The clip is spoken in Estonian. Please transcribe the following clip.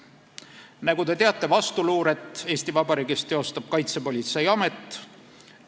Nagu te teate, teostab Eesti Vabariigis vastuluuret Kaitsepolitseiamet.